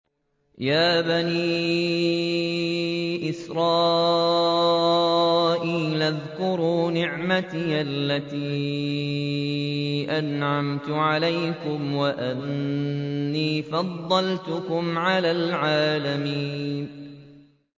يَا بَنِي إِسْرَائِيلَ اذْكُرُوا نِعْمَتِيَ الَّتِي أَنْعَمْتُ عَلَيْكُمْ وَأَنِّي فَضَّلْتُكُمْ عَلَى الْعَالَمِينَ